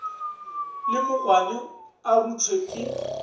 le mogwane a ruthwe ke